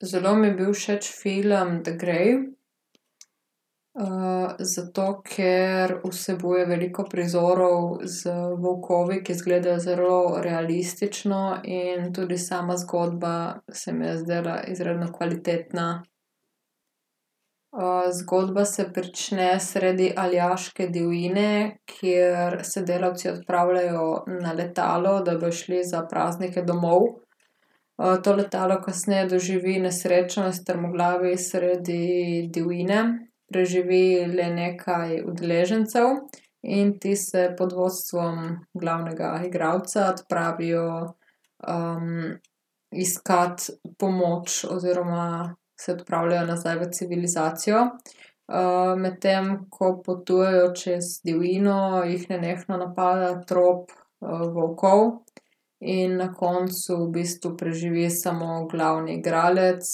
Zelo mi je bil všeč film The Grey. zato ker vsebuje veliko prizorov z volkovi, ki izgledajo zelo realistično in tudi sama zgodba se mi je zdela izredno kvalitetna. zgodba se prične sredi aljaške divjine, kjer se delavci odpravljajo na letalo, da bojo šli za praznike domov. to letalo kasneje doživi nesrečo in strmoglavi sredi divjine. Preživi le nekaj udeležencev. In ti se pod vodstvom glavnega igralca odpravijo, iskat pomoč oziroma se odpravljajo nazaj v civilizacijo, medtem ko potujejo čez divjino, jih nenehno napada trop, volkov in na koncu v bistvu preživi samo glavni igralec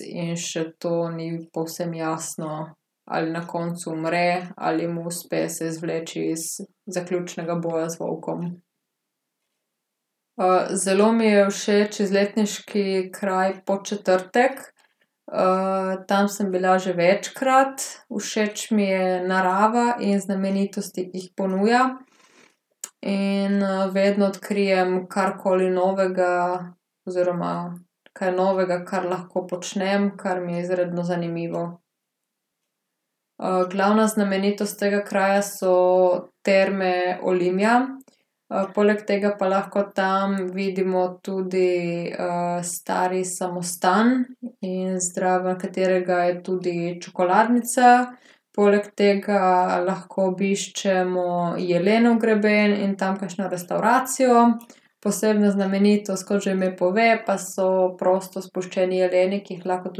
in še to ni povsem jasno, ali na koncu umre ali mu uspe se izvleči iz zaključnega boja z volkom. zelo mi je všeč izletniški kraj Podčetrtek. tam sem bila že večkrat, všeč mi je narava in znamenitosti, ki jih ponuja. In, vedno odkrijem karkoli novega oziroma kaj novega, kar lahko počnem, kar mi je izredno zanimivo. glavna znamenitost tega kraja so Terme Olimia. poleg tega pa lahko tam vidimo tudi, stari samostan in zraven katerega je tudi čokoladnica. Poleg tega lahko obiščemo Jelenov greben in tam kakšno restavracijo. Posebna znamenitost, kot že ime pove, pa so prosto spuščeni jeleni, ki jih lahko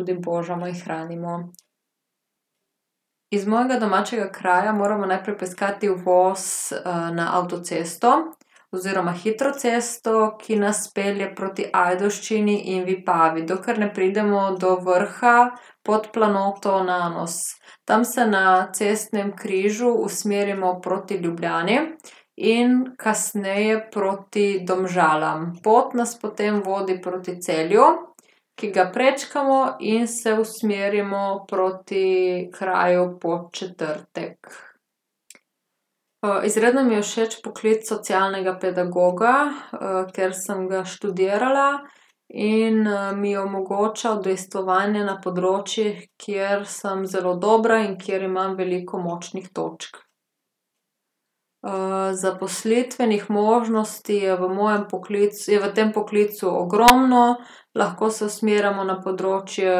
tudi božamo in hranimo. Iz mojega domačega kraja moramo najprej poiskati uvoz, na avtocesto. Oziroma hitro cesto, ki nas pelje proti Ajdovščini in Vipavi, dokler ne pridemo do vrha pod planoto Nanos. Tam se na cestnem križu usmerimo proti Ljubljani in kasneje proti Domžalam. Pot nas potem vodi proti Celju, ki ga prečkamo in se usmerimo proti kraju Podčetrtek. izredno mi je všeč poklic socialnega pedagoga, ker sem ga študirala in, mi je omogočal udejstvovanje na področjih, kjer sem zelo dobra in kjer imam veliko močnih točk. zaposlitvenih možnosti je v mojem je v tem poklicu ogromno, lahko se usmerjamo na področje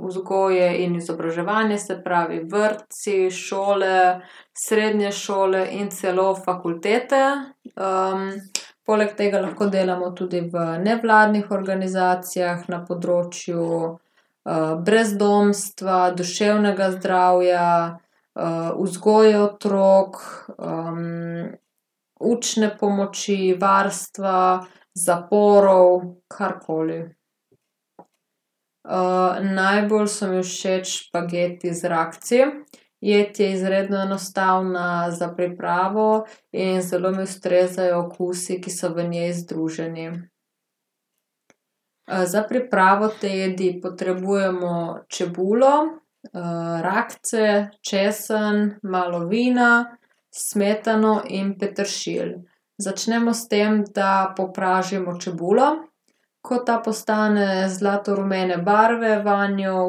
vzgoje in izobraževanja, se pravi vrtci, šole, srednje šole in celo fakultete. poleg tega lahko delamo tudi v nevladnih organizacijah na področju, brezdomstva, duševnega zdravja, vzgoje otrok, učne pomoči, varstva, zaporov, karkoli. najbolj so mi všeč špageti z rakci. Jed je izredno enostavna za pripravo in zelo mi ustrezajo okusi, ki so v njej združeni. za pripravo te jedi potrebujemo čebulo, rakce, česen, malo vina, smetano in peteršilj. Začnemo s tem, da popražimo čebulo. Ko ta postane zlatorumene barve, vanjo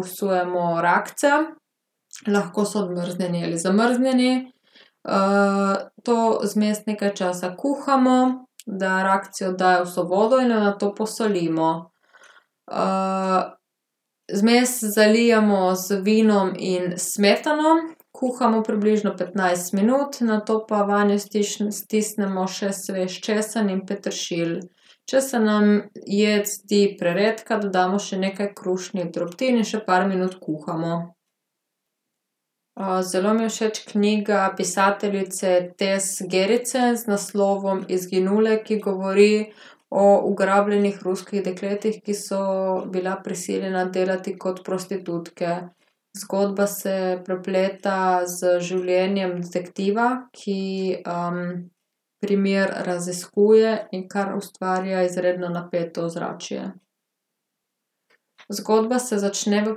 vsujemo rakce. Lahko so odmrznjeni ali zamrznjeni, to zmes nekaj časa kuhamo, da rakci oddajo vso vodo in jo nato posolimo. vmes zalijemo z vinom in s smetano. Kuhamo približno petnajst minut, nato pa vanjo stisnemo še svež česen in peteršilj. Če se nam jed zdi preredka, dodamo še nekaj krušnih drobtin in še par minut kuhamo. zelo mi je všeč knjiga pisateljice Tess Gerritsen z naslovom Izginule, ki govori o ugrabljenih ruskih dekletih, ki so bila prisiljena delati kot prostitutke. Zgodba se prepleta z življenjem detektiva, ki, primer raziskuje, in kar ustvarja izredno napeto ozračje. Zgodba se začne v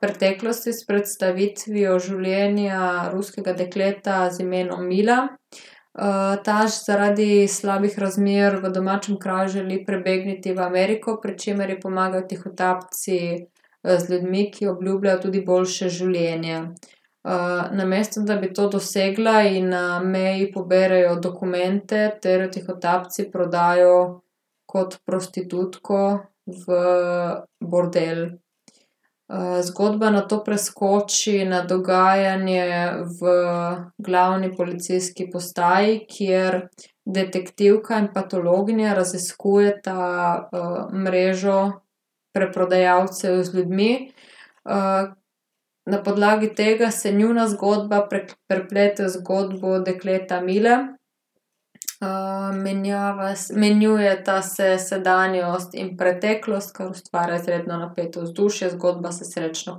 preteklosti s predstavitvijo življenja ruskega dekleta z imenom Imela. ta zaradi slabih razmer v domačem kraju želi prebegniti v Ameriko, pri čemer ji pomagajo tihotapci, z ljudmi, ki obljubljajo tudi boljše življenje. namesto da bi to dosegla, ji na meji poberejo dokumente ter jo tihotapci prodajo kot prostitutko v bordel. zgodba nato preskoči na dogajanje v glavni policijski postaji, kjer detektivka in patologinja raziskujeta, mrežo preprodajalcev z ljudmi. na podlagi tega se njuna zgodba prepleta z zgodbo dekleta Mile. Menjava menjujeta se sedanjost in preteklost, kar ustvarja izredno napeto vzdušje, zgodba se srečno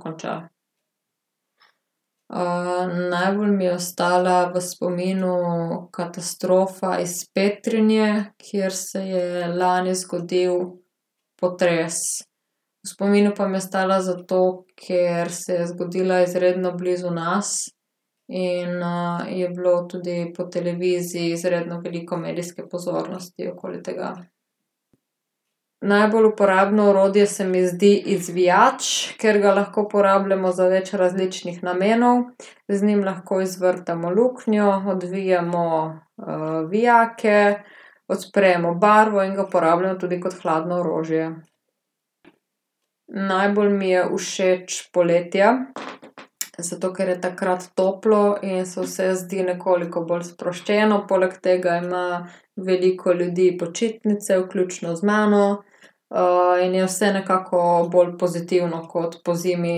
konča. najbolj mi je ostala v spominu katastrofa iz Petrinje, kjer se je lani zgodil potres. V spominu pa mi je ostala zato, ker se je zgodila izredno blizu nas. In, je bilo tudi po televiziji izredno veliko medijske pozornosti okoli tega. Najbolj uporabno orodje se mi zdi izvijač, ker ga lahko uporabljamo za več različnih namenov. Z njim lahko izvrtamo luknjo, odvijemo vijake, odpremo barvo in ga uporabljamo tudi kot hladno orožje. Najbolj mi je všeč poletje, zato ker je takrat toplo in se vse zdi nekoliko bolj sproščeno, poleg tega ima veliko ljudi počitnice, vključno z mano. in je vse nekako bolj pozitivno kot pozimi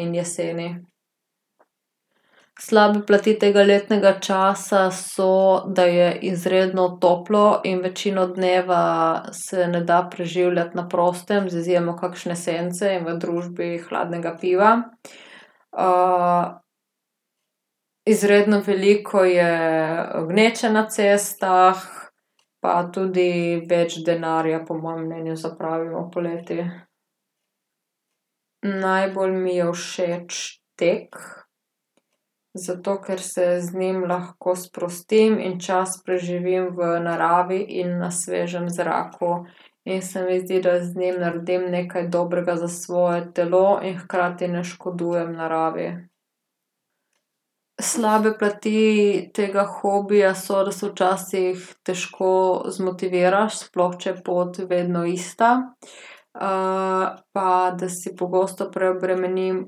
in jeseni. Slabe plati tega letnega časa so, da je izredno toplo in večino dneva se ne da preživljati na prostem z izjemo kakšne sence in v družbi hladnega piva. izredno veliko je gneče na cestah pa tudi več denarja po mojem mnenju zapravimo poleti. Najbolj mi je všeč tek. Zato ker se z njim lahko sprostim in čas preživim v naravi in na svežem zraku. In se mi zdi, da z njim naredim nekaj dobrega za svoje telo in hkrati ne škodujem naravi. Slabe plati tega hobija so, da se včasih težko zmotiviraš, sploh če je pot vedno ista. pa da si pogosto preobremenim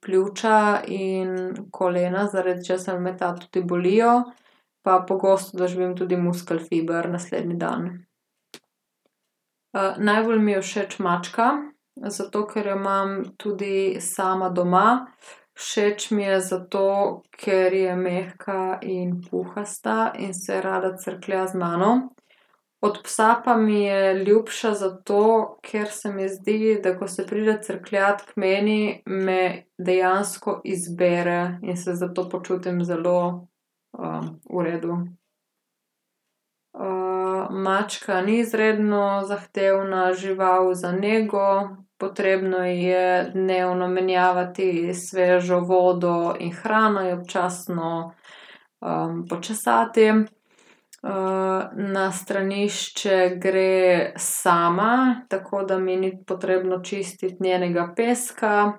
pljuča in kolena, zaradi česar me ta tudi bolijo. Pa pogosto doživim tudi muskelfiber naslednji dan. najbolj mi je všeč mačka, zato ker jo imam tudi sama doma. Všeč mi je, zato ker je mehka in puhasta in se rada crklja z mano. Od psa pa mi je ljubša, zato ker se mi zdi, da ko se pride crkljat k meni, me dejansko izbere in se zato počutim zelo, v redu. mačka ni izredno zahtevna žival za nego. Potrebno ji je dnevno menjavati svežo vodo in hrano, jo občasno, počesati, na stranišče gre sama, tako da mi ni potrebno čistiti njenega peska,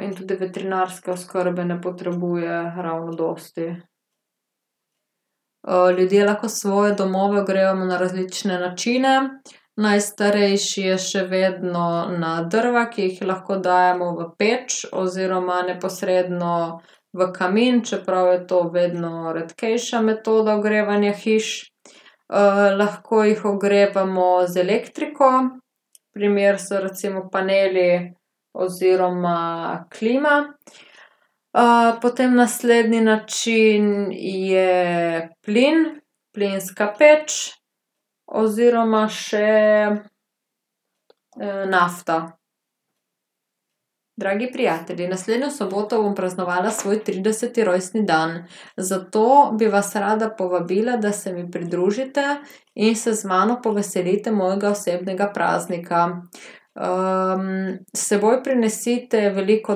in tudi veterinarske oskrbe ne potrebuje ravno dosti. ljudje lahko svoje domove ogrevamo na različne načine. Najstarejši je še vedno na drva, ki jih lahko dajemo v peč oziroma, neposredno v kamin, čeprav je to vedno redkejša metoda ogrevanja hiš. lahko jih ogrevamo z elektriko, primer so recimo paneli oziroma klima. potem naslednji način je plin, plinska peč oziroma še, nafta. Dragi prijatelji, naslednjo soboto bom praznovala svoj trideseti rojstni dan. Zato bi vas rada povabila, da se mi pridružite in se z mano poveselite mojega osebnega praznika. s seboj prinesite veliko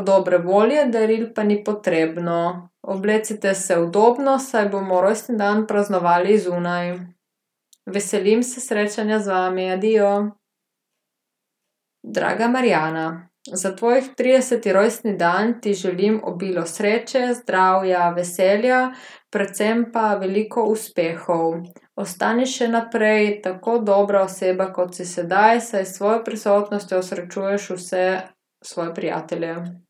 dobre volje, daril pa ni potrebno. Oblecite se udobno, saj bomo rojstni dan praznovali zunaj. Veselim se srečanja z vami. Adijo. Draga Marjana, za tvoj trideseti rojstni dan ti želim obilo sreče, zdravja, veselja predvsem pa veliko uspehov. Ostani še naprej tako dobra oseba, kot si sedaj, saj s svojo prisotnostjo osrečuješ vse svoje prijatelje.